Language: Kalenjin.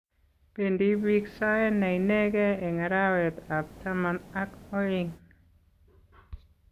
Bendii biik sae ne inegei eng arawekab taman ak oeng.